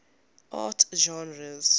art genres